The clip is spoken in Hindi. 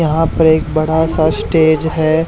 यहां पे एक बड़ा सा स्टेज है।